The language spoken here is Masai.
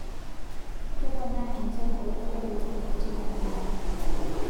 Keponaa enchan eunoto oolkeek teina wilaya